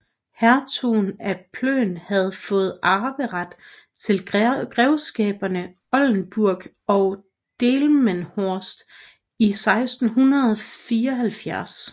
Hertugen af Plön havde fået arveret til grevskaberne Oldenburg og Delmenhorst i 1674